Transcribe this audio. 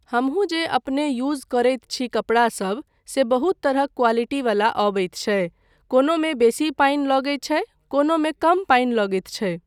हमहू जे अपने यूज़ करैत छी कपड़ासभ से बहुत तरहक क़्वालिटी वला अबैत छै, कोनोमे बेसी पानि लगैत छै कोनोमे कम पानि लगैत छै।